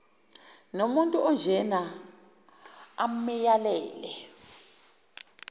nomuntu onjena amyalele